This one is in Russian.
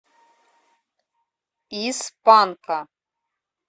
из панка